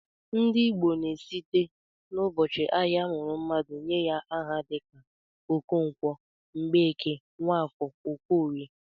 Ndị Igbo na-esite n'ụbọchị ahịa a mụrụ mmadụ nye aha dịka Okonkwo, Mgbeke, Nwafọ, Okorie